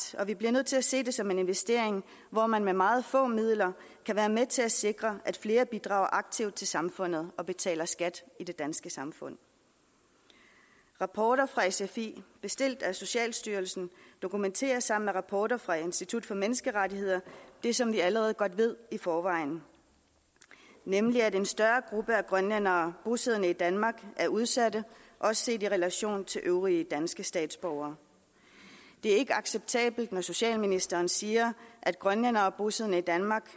og vi bliver nødt til at se det som en investering hvor man med meget få midler kan være med til at sikre at flere bidrager aktivt til samfundet og betaler skat i det danske samfund rapporter fra sfi bestilt af socialstyrelsen dokumenterer sammen med rapporter fra institut for menneskerettigheder det som vi allerede godt ved i forvejen nemlig at en større gruppe af grønlændere bosiddende i danmark er udsatte også set i relation til øvrige danske statsborgere det er ikke acceptabelt når socialministeren siger at grønlændere bosiddende i danmark